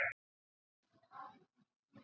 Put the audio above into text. Get tórað í hálfan mánuð í viðbót.